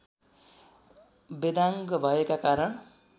वेदाङ्ग भएका कारण